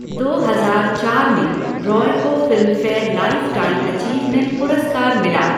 दो हजार चार में, रॉय को फिल्मफेयर लाइफ़ टाइम अचीवमेंट पुरस्कार मिला।